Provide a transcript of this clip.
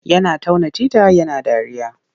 Yana tauna tita yana dariya.